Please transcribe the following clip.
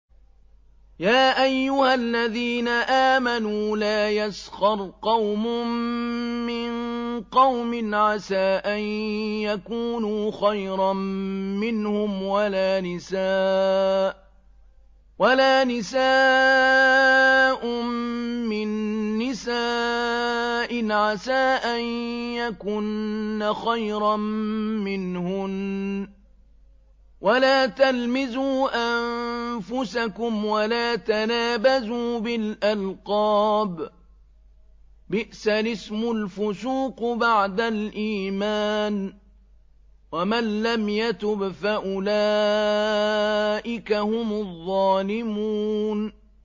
يَا أَيُّهَا الَّذِينَ آمَنُوا لَا يَسْخَرْ قَوْمٌ مِّن قَوْمٍ عَسَىٰ أَن يَكُونُوا خَيْرًا مِّنْهُمْ وَلَا نِسَاءٌ مِّن نِّسَاءٍ عَسَىٰ أَن يَكُنَّ خَيْرًا مِّنْهُنَّ ۖ وَلَا تَلْمِزُوا أَنفُسَكُمْ وَلَا تَنَابَزُوا بِالْأَلْقَابِ ۖ بِئْسَ الِاسْمُ الْفُسُوقُ بَعْدَ الْإِيمَانِ ۚ وَمَن لَّمْ يَتُبْ فَأُولَٰئِكَ هُمُ الظَّالِمُونَ